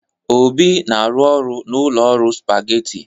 Obi na-arụ n'ụlọ ọrụ Supageti.